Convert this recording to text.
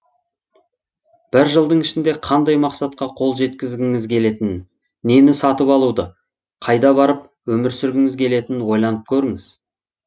бір жылдың ішінде қандай мақсатқа қол жеткізгіңіз келетінін нені сатып алуды қайда барып өмір сүргіңіз келетінін ойланып көріңіз